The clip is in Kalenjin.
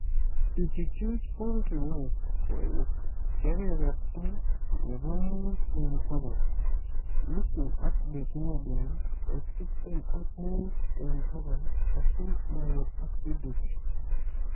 Ichuchuch poultry waste koek kebeberta nebo muut eng bokol, Lucerne ak Desmodium koek tiptem ak muut eng bokol asi moet acidity